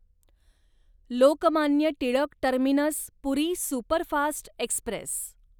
Lokmanya Tilak terminus Puri superfast Express